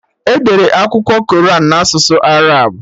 Edere Akwụkwọ Koran na asụsụ Arab